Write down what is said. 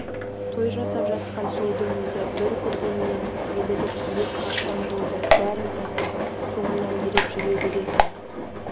той жасап жатқан сұлудың өзі бір көргеннен елігіп иек қақсам болды бәрін тастап соңымнан еріп жүре беретін